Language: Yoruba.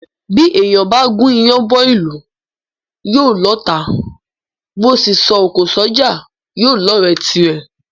Bí èèyàn bá gún iyán bọ́ ìlú, yóò lọ́ọ̀tá; bó sì ńsọ òkò s’ọ́jà, yóò lọ́ọ̀rẹ́ tirẹ̀.